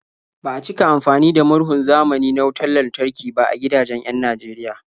Ba a cika amfani da murhun zamani na wutar lantarki ba a gidajen 'yan Najeriya.